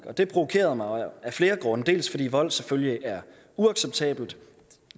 og det provokerede mig af flere grunde dels fordi vold selvfølgelig er uacceptabelt